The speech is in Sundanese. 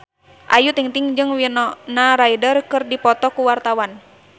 Ayu Ting-ting jeung Winona Ryder keur dipoto ku wartawan